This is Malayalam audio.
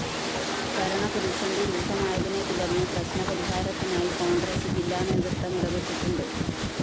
ഭരണ പ്രതിസന്ധി രൂക്ഷമായതിനെത്തുടര്‍ന്ന് പ്രശ്‌നപരിഹാരത്തിനായി കോണ്‍ഗ്രസ് ജില്ലാ നേതൃത്വം ഇടപെട്ടിട്ടുണ്ട്